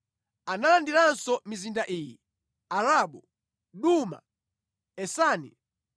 Analandiranso mizinda iyi: Arabu, Duma, Esani,